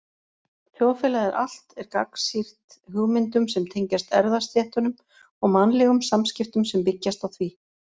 Þjóðfélagið allt er gagnsýrt hugmyndum sem tengjast erfðastéttunum og mannlegum samskiptum sem byggjast á því.